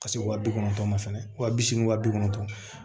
Ka se wa bi kɔnɔntɔn ma fɛnɛ wa bi seegin wa bi kɔnɔntɔn